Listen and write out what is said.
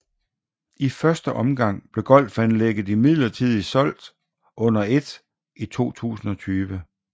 I første omgang blev golfanlægget imidlertid solgt under et i 2020